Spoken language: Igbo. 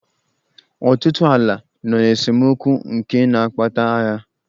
Ọtụtụ ala nọ n'esemokwu nke na-akpata agha.